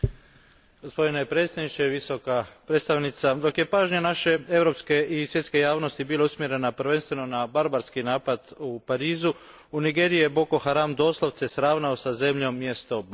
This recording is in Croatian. Gospodine predsjedniče, Visoka predstavnice, dok je pažnja naše europske i svjetske javnosti bila usmjerena prvenstveno na barbarski napad u Parizu, u Nigeriji je Boko Haram doslovce sravnio sa zemljom mjesto Baga.